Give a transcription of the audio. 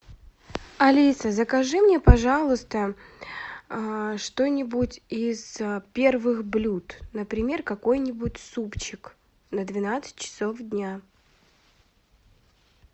алиса закажи мне пожалуйста что нибудь из первых блюд например какой нибудь супчик на двенадцать часов дня